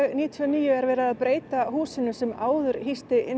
níutíu og níu er verið að breyta húsinu sem áður hýsti